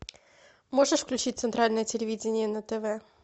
можешь включить центральное телевидение на тв